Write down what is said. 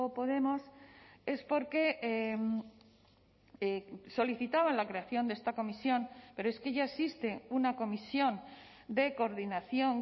podemos es porque solicitaban la creación de esta comisión pero es que ya existe una comisión de coordinación